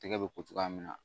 Tɛgɛ bɛ ko cogoya min na